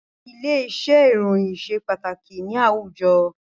Ilé-iṣẹ́ ìròyìn ṣe pàtàkì ni àwùjọ